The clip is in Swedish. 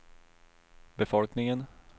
befolkningen